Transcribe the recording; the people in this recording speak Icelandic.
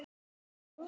Skoðum þetta nánar